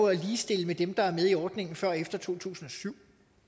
at ligestille med dem der er med i ordningen før og efter to tusind og syv